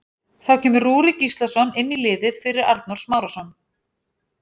Þá kemur Rúrik Gíslason inn í liðið fyrir Arnór Smárason.